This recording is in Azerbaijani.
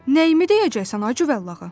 Nəyimi deyəcəksən, ay cıvəllağa?